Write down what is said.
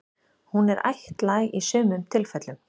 Hún er ættlæg í sumum tilfellum.